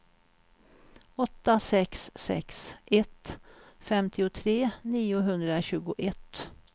åtta sex sex ett femtiotre niohundratjugoett